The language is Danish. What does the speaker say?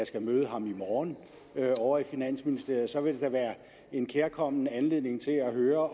skal møde ham i morgen ovre i finansministeriet så vil det da være en kærkommen anledning til at høre